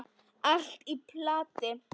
Allt í plati!